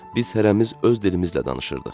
Biz hərəmiz öz dilimizlə danışırdıq.